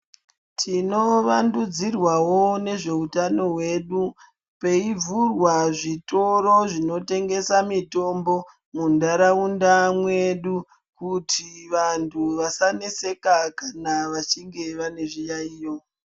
Tinovandudzirwawo nezveutano hwedu, peivhurwa zvitoro zvinotengesa mitombo muntaraunda mwedu kuti vantu vasaneseka kana vachinge vane zviyaiyo.